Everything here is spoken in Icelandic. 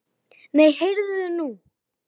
Nei, heyrðu nú.